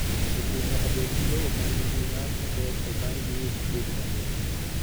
Jopur nyaka bed gi lowo ma nigi nyak maber eka giyud puodho maber.